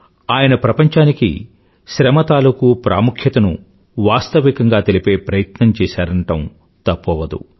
ఆయన ప్రపంచానికి శ్రమ తాలూకూ ప్రాముఖ్యతను వాస్తవికంగా తెలిపే ప్రయత్నం చేశారనడం తప్పు అవదు